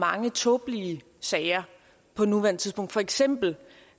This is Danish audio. mange tåbelige sager på nuværende tidspunkt for eksempel